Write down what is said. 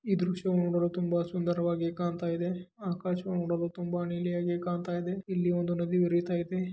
ಈ ದೃಶ್ಯವನ್ನು ನೋಡಲು ತುಂಬಾ ಸುಂದರವಾಗಿ ಕಾಣ್ತಾ ಇದೆ ಆಕಾಶ ನೋಡಲು ತುಂಬಾ ನೀಲಿಯಾಗಿ ಕಾಣ್ತಾ ಇದೆ ಇಲ್ಲಿ ಒಂದು ನದಿ ಹರಿತಾ ಇದೆ.